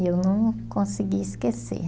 E eu não consegui esquecer.